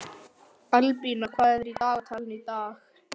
Albína, hvað er í dagatalinu í dag?